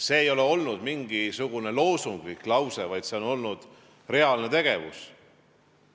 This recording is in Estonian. See ei ole olnud mingisugune loosunglik lause, vaid see on olnud reaalne tegevus.